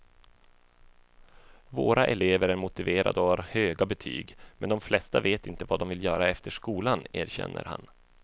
Våra elever är motiverade och har höga betyg, men de flesta vet inte vad de vill göra efter skolan, erkänner han.